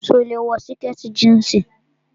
So lè wọ sìkẹ̀tì jíǹsì.